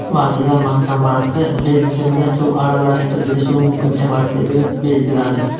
Vazirlar Mahkamasi benzinga suv aralashtirilishi mumkin emasligini belgiladi.